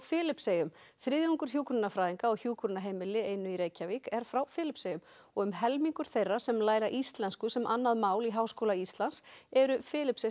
Filippseyjum þriðjungur hjúkrunarfræðinga á hjúkrunarheimili í Reykjavík er frá Filippseyjum og um helmingur þeirra sem læra íslensku sem annað mál í Háskóla Íslands eru